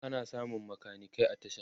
ana samun makanikai a tasha